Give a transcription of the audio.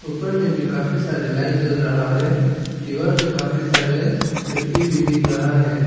ऊपर में भी काफी सारे लाइट हैं जल रहा है दीवार में काफी सारे खिड़की भी दिख रहा है।